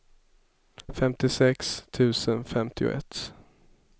femtiosex tusen femtioett